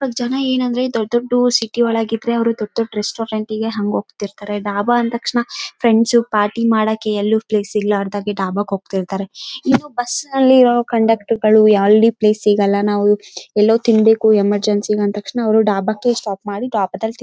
ಜನ ಏನಂದ್ರೆ ದೊಡ್ಡ್ ದೊಡ್ಡ್ ಸಿಟಿ ಒಳಗೆ ಇದ್ರೆ ಅವ್ರು ದೊಡ್ಡ್ ದೊಡ್ಡ್ ರೆಸ್ಟೋರೆಂಟ್ ಗೆ ಹಂಗೆ ಹೋಗ್ತಿರ್ತಾರೆ ಡಾಬಾ ಅಂದ್ ತಕ್ಷಣ ಫ್ರೆಂಡ್ಸ್ ಪಾರ್ಟಿ ಮಾಡೋಕೆ ಎಲ್ಲೂ ಪ್ಲೇಸ್ ಇರ್ಲಾರ್ದಗೆ ಡಾಬಾಗೆ ಹೋಗ್ತಿರ್ತಾರೆ ಇದು ಬುಸ್ಸಲ್ಲಿರೋ ಕಂಡಕ್ಟರ್ ಎಲ್ಲೂ ಪ್ಲೇಸ್ ಸಿಗೋಲ್ಲ ನಾವು ಎಲ್ಲೋ ತಿನ್ಬೇಕು ಎಮರ್ಜೆನ್ಸಿ ಅಂದ್ ತಕ್ಷಣ ಅವ್ರು ಡಾಬಾಕ್ಕೆ ಸ್ಟಾಪ್ ಮಾಡಿ ಡಾಬಾದಲ್ಲಿ--